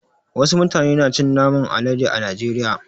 Wasu mutane na cin naman alade a najeriya.